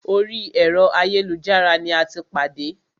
Orí ẹ̀rọ ayélujára ní a tí pàdé.